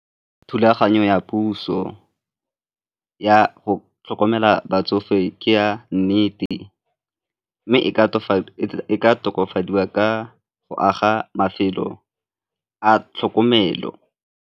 Thulaganyo ya puso ya go tlhokomela batsofe ke ya nnete mme e ka tokafadiwa ka go aga mafelo a tlhokomelo.